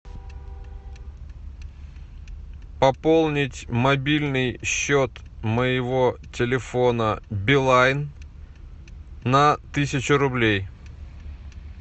пополнить мобильный счет моего телефона билайн на тысячу рублей